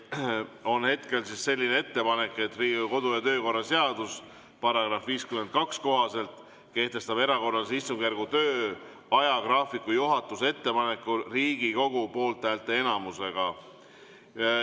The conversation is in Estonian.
Hetkel on selline ettepanek, et Riigikogu kodu‑ ja töökorra seaduse § 52 kohaselt kehtestab erakorralise istungjärgu töö ajagraafiku juhatuse ettepanekul Riigikogu poolthäälte enamusega.